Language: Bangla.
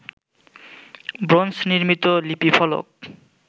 ব্রোঞ্জ নির্মিত লিপিফলক